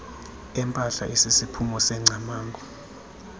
empahla esisiphumo sengcamango